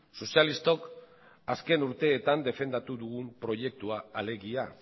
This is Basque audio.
sozialistok azken urteetan defendatu dugun proiektua alegia